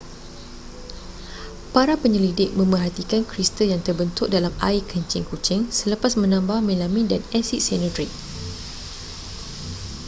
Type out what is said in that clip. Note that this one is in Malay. para penyelidik memerhatikan kristal yang terbentuk dalam air kencing kucing selepas menambah melamin dan asid sianurik